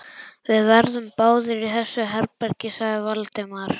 Við verðum báðir í þessu herbergi sagði Valdimar.